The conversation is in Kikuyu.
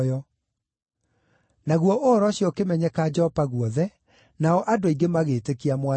Naguo ũhoro ũcio ũkĩmenyeka Jopa guothe, nao andũ aingĩ magĩĩtĩkia Mwathani.